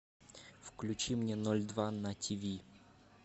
включи мне ноль два на тв